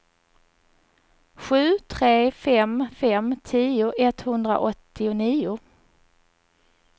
sju tre fem fem tio etthundraåttionio